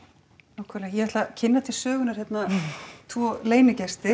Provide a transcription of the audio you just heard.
nákvæmlega ég ætla að kynna til sögunnar tvo